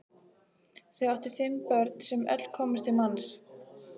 Þau áttu fimm börn sem öll komust til manns.